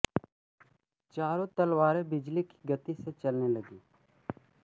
चारों तलवारें बिजली की गति से चलने लगीं